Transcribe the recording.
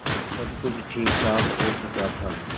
अब सब कुछ ठीकठाक हो चुका था